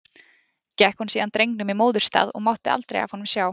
Gekk hún síðan drengnum í móðurstað og mátti aldrei af honum sjá.